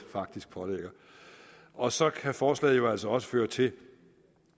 pålægger og så kan forslaget jo altså også føre til